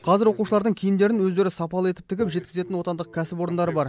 қазір оқушылардың киімдерін өздері сапалы етіп тігіп жеткізетін отандық кәсіпорындар бар